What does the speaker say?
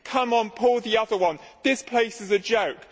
Come on, pull the other one this place is a joke!